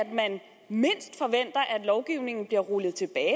lovgivningen bliver rullet tilbage